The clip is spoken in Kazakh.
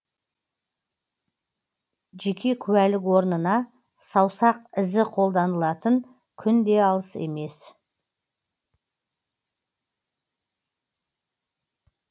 жеке куәлік орнына саусақ ізі қолданылатын күн де алыс емес